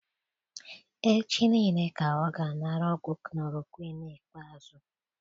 Echi nille ka ọ ga anara ọgwụ chloroquine ikpeazụ